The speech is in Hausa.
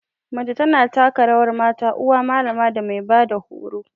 Mace ta na taka rawar mata, uwa, malama da mai ba da horo.